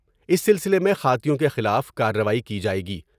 اس سلسلے میں خاطیوں کے خلاف کاروائی کی جائے گی ۔